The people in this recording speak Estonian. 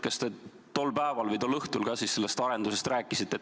Kas te tol päeval või tol õhtul ka sellest arendusest rääkisite?